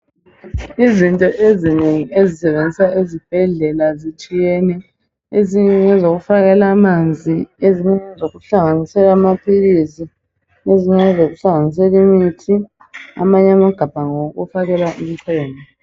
izinto ezinengi ezisetshenziswa esibhedlela zitshiyene ezinye ngezokufakela amanzi ezinye ngezokuhlanganisela amaphilisi ezinye ngezokuhlanganisela imithi amanye amagabha ngawokuhlanginisela imchemo